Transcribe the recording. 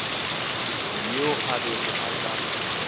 yo a bego a sa